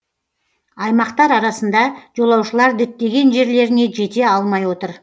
аймақтар арасында жолаушылар діттеген жерлеріне жете алмай отыр